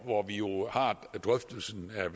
hvor vi jo har drøftelsen at